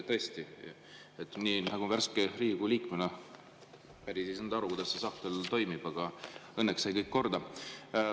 Tõesti, värske Riigikogu liikmena ma päriselt ei saanud aru, kuidas see sahtel toimib, aga õnneks sai kõik korda.